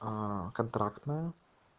а контрактная